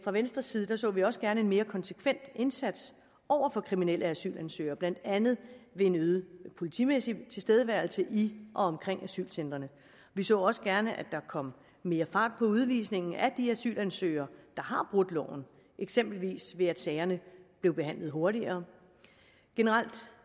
venstres side så vi også gerne en mere konsekvent indsats over for kriminelle asylansøgere blandt andet ved en øget politimæssig tilstedeværelse i og omkring asylcentrene vi så også gerne at der kom mere fart på udvisningen af de asylansøgere der har brudt loven eksempelvis ved at sagerne blev behandlet hurtigere generelt